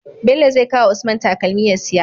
Bello zai kawa usman takalmi ya siya